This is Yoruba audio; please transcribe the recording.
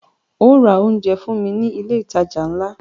Óò ra oúnjẹ fún mí ní ilé ìtajà ńlá!